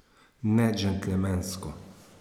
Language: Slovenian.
Nedžentelmensko.